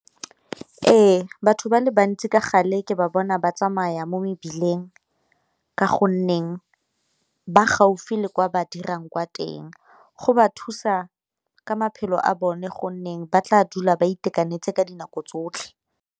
Ee, batho ba le bantsi ka gale ke ba bona ba tsamaya mo mebileng, ka gonneng ba gaufi le kwa ba dirang kwa teng. Go ba thusa ka maphelo a bone gonne ba tla dula ba itekanetse ka dinako tsotlhe.